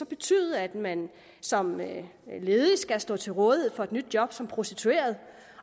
betyde at man som ledig skal stå til rådighed for et nyt job som prostitueret